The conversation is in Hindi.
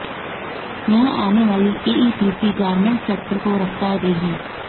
यहां आने वाली एईपीसी गारमेंट सेक्टर को रफ्तार देगी